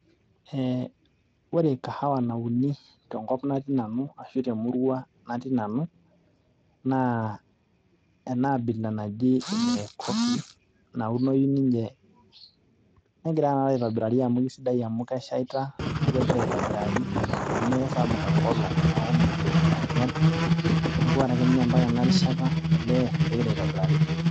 Ee ore kahawa nauni tenkop natii nanu ashu te emurua natii nanu naa enaabila naji black coffee , negira ake aitobirari amu keshaita, nemesapuk enkolong neeku mepej ainyial neeku ore ake ninye mpaka ena rishata olee kegira aitobirari pii.